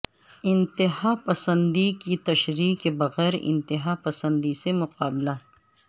انتہا پسندی کی تشریح کے بغیر انتہا پسندی سے مقابلہ